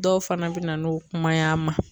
Dɔw fana be na n'u kuma y'an ma